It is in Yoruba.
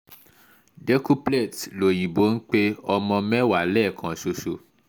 cs] decuplets lọ́yìnbó ń pe ọmọ mẹ́wàá lẹ́ẹ̀kan ṣoṣo